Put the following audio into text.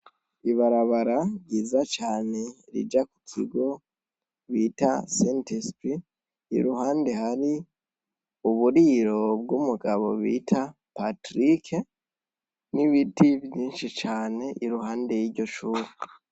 Ibarabara ryiza cane rija ku kigo bita sait spirt iruhande hari uburiro bw'umugabo bit Patric n'ibiti vyishi cane iruhande yiryo shuri.